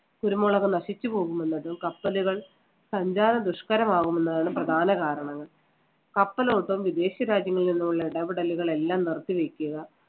കുരുമുളക് നശിച്ചുപോകും എന്നതും കപ്പലുകൾ സഞ്ചാര ദുഷ്കരമാകുന്നതാണ് പ്രധാന കാരണങ്ങൾ. കപ്പലോട്ടം വിദേശരാജ്യങ്ങളിൽ നിന്നുള്ള ഇടപെടലുകളെല്ലാം നിർത്തിവെക്കുക